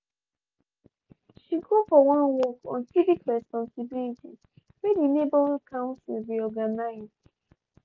she go for one workshop on civic responsibilities wey di neighborhood council bin organize.